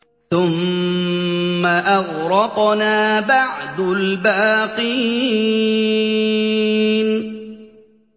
ثُمَّ أَغْرَقْنَا بَعْدُ الْبَاقِينَ